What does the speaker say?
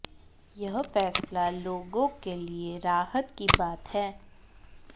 यह फैसला लोगों के लिए राहत की बात है